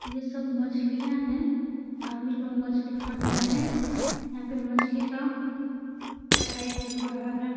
यह सब मछलियाँ हैं। आदमी लोग मछली खरीदने आए हैं। यहाँ पर मछली का कटाई भी हो रहा है।